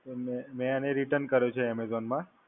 અને મેં મેં એને Return કર્યો છે Amazon માં.